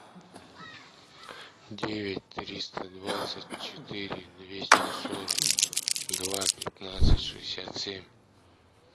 девять триста двадцать четыре двести сорок два пятнадцать шестьдесят семь